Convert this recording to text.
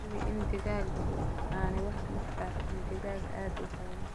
Hubi in digaagga digaaggu aanay buux dhaafin digaag aad u badan.